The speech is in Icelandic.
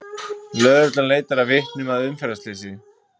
Lögreglan leitar að vitnum að umferðarslysi